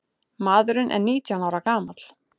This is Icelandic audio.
Maðurinn er nítján ára gamall.